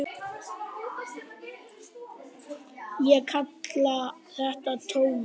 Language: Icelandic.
Ég kalla þetta tómið.